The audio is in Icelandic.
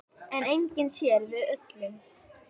En enginn sér við öllum.